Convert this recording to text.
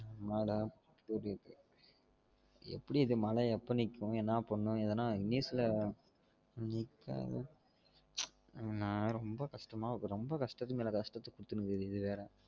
என்னடா இது எப்டி இது மழை எப்ப நிக்கும் என்ன பண்ணனும் எதனா news ல உச் நான் ரொம்ப கஷ்டமா இருக்கு ரொம்ப கஷ்டத்து மேல கஷ்டம் குடுத்துட்டு இருக்குது இது வேற